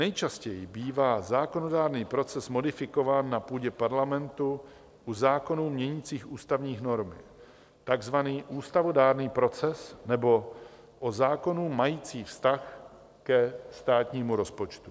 Nejčastěji bývá zákonodárný proces modifikován na půdě parlamentu u zákonů měnících ústavní normy, takzvaný ústavodárný proces, nebo u zákonů majících vztah ke státnímu rozpočtu.